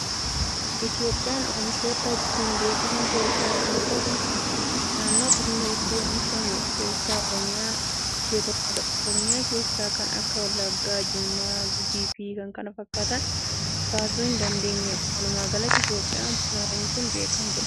Itoophiyaan oomiishoota ittiin beekkaman keessaa inni tokko buna. Naannoo bunni itti oomishamu keessaa Oromiyaan ishee tokkoodha. Oromiyaa keessaa kan akka: Wallaggaa, Jimmaa, Gujiifi kan kana fakkaatan kaasuu hin dandeenya. Walumaagalatti, Itiyoophiyaan buna oomishuun beekamtuudha.